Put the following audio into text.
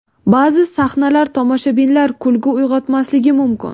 Ba’zi sahnalar tomoshabinlar kulgi uyg‘otmasligi mumkin.